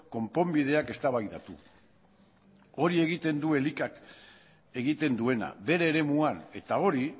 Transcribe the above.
konponbideak eztabaidatu hori egiten du elikak egiten duena bere eremuan eta hori